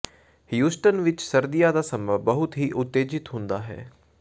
Houston ਵਿੱਚ ਸਰਦੀਆਂ ਦਾ ਸਮਾਂ ਬਹੁਤ ਹੀ ਉਤੇਜਿਤ ਹੁੰਦਾ ਹੈ